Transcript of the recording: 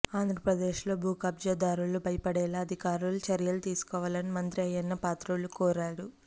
ఆంధ్రప్రదేశ్ లో భూకబ్జా దారులు భయపడేలా అధికారులు చర్యలు తీసుకోవాలని మంత్రి అయ్యన్నపాత్రుడు కోరారు